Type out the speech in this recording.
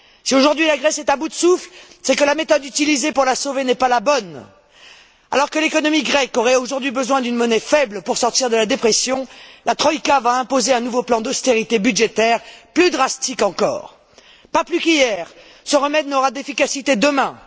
Si, aujourd'hui, la Grèce est à bout de souffle, c'est que la méthode utilisée pour la sauver n'est pas la bonne. Alors que l'économie grecque aurait besoin aujourd'hui d'une monnaie faible pour sortir de la dépression, la troïka va imposer un nouveau plan d'austérité budgétaire plus drastique encore. Pas plus qu'hier, ce remède n'aura d'efficacité demain.